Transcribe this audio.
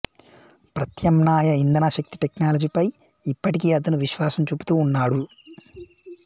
ప్రత్యామ్నాయ ఇంధనశక్తి టెక్నాలజీ పై ఇప్పటికి అతను విశ్వాసం చూపుతూ ఉన్నాడు